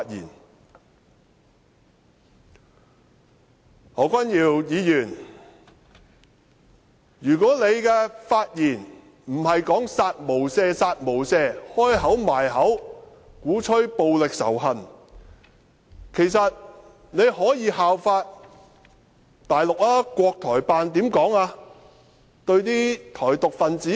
如果何君堯議員的發言不是說"殺無赦，殺無赦"，張口閉口鼓吹暴力仇恨，其實他可以效法大陸，國台辦怎樣對台獨分子說？